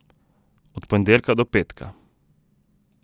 Od ponedeljka do petka.